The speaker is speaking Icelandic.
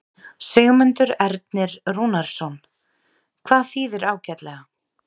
Sigmundur Ernir Rúnarsson: Hvað þýðir ágætlega?